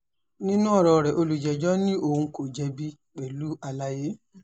nínú ọ̀rọ̀ rẹ̀ olùjẹ́jọ́ ní òun kò jẹ̀bi pẹ̀lú àlàyé